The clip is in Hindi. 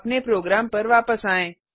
अपने प्रोग्राम पर वापस आएँ